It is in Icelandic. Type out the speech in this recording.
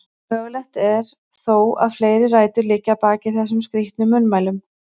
Mögulegt er þó að fleiri rætur liggi að baki þessum skrítnu munnmælum.